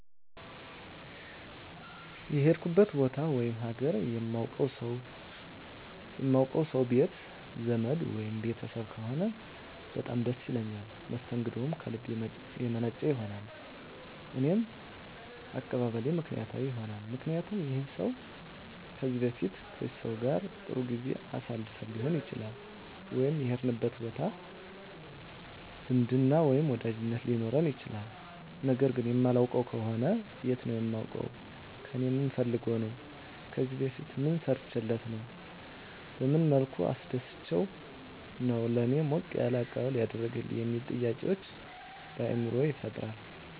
የሄድኩበት ቦታ ወይም ሀገር የማውቀው ሰው ቤት ዘመድ ወይም ቤተሰብ ከሆነ በጣም ደስ ይለኛል መስተንግደውም ከልብ የመነጨ ይሆናል እኔም አቀባበሌ ምክንያታዊ ይሆናልምክንያቱም ይህን ሰው ከዚህ በፊት ከዚህ ሰው ጋር ጥሩ ጊዜ አሳልፈን ሊሆን ይችላል ወይም የሄድንበት ቦታ ዝምድና ወይም ወዳጅነት ሊኖረን ይችላል ነገር ግን የማላውቀው ከሆነ የት ነው የማውቀው ከእኔ ምን ፈልጎ ነው ከዚህ በፊት ምን ሰርቸለት ነው በመን መልኩ አስደስቸው ነው ለእኔ ሞቅ ያለ አቀባበል ያደረገልኝ የሚሉ ጥያቄዎች በአይምሮየ ይፈጠራል